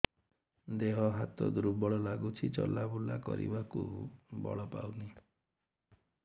ଦେହ ହାତ ଦୁର୍ବଳ ଲାଗୁଛି ଚଲାବୁଲା କରିବାକୁ ବଳ ପାଉନି